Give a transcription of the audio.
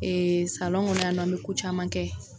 yan nɔ an mɛ ko caman kɛ.